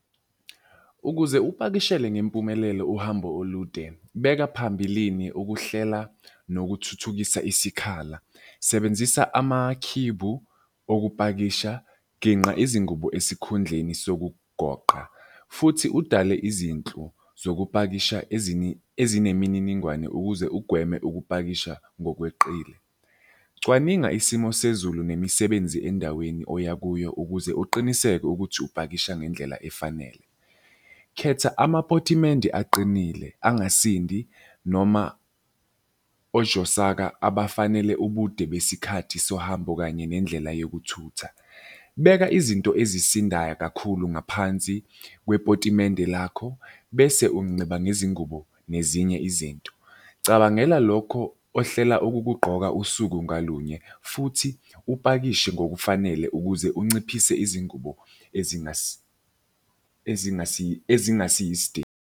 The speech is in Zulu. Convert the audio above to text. Ukuze upakishele ngempumelelo uhambo olude, beka phambilini ukuhlela nokuthuthukisa isikhala. Sebenzisa amakhibhu okupakisha, ginqa izingubo esikhundleni sokugoqa futhi udale izinhlu zokupakisha ezinemininingwane ukuze ugweme ukupakisha ngokweqile. Cwaninga isimo sezulu nemisebenzi endaweni oya kuyo ukuze uqiniseke ukuthi upakisha ngendlela efanele. Khetha amapotimende aqinile angasindi noma ojosaka abafanele ubude besikhathi sohambo kanye nendlela yokuthutha. Beka izinto ezisindayo kakhulu ngaphansi kwepotimende lakho, bese ngezingubo nezinye izinto. Cabangela lokho ohlela ukukugqoka usuku ngalunye futhi upakishe ngokufanele ukuze unciphise izingubo .